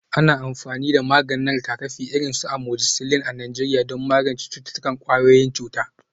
Ana amfani da maganin rigakafi, irin su amoxicillin a Najeriya don magance cututtukan ƙwayoyin cuta.